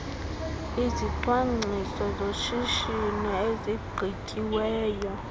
izicwangciso zoshishino ezigqityiweyo